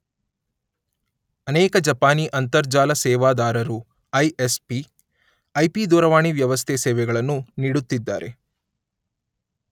ಅನೇಕ ಜಪಾನೀ ಅಂತರ್ಜಾಲ ಸೇವಾದಾರರು (ಐ_letter ಎಸ್_letter ಪಿ_letter ) I P ದೂರವಾಣಿ ವ್ಯವಸ್ಥೆ ಸೇವೆಗಳನ್ನು ನೀಡುತ್ತಿದ್ದಾರೆ.